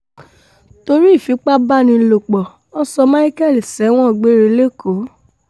torí ìfipábánilòpọ̀ wọn sọ micheal sẹ́wọ̀n gbére lẹ́kọ̀ọ́